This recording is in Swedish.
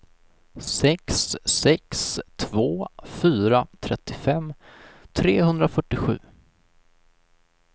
sex sex två fyra trettiofem trehundrafyrtiosju